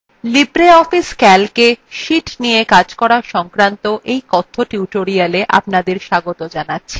libreoffice calcএ sheets নিয়ে calc করা সংক্রান্ত কথ্য tutorialএ স্বাগত